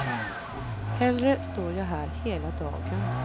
Hellre står jag här hela dagen.